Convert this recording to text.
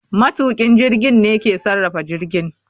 Matukin jirgin ne ke sarrafa jirgin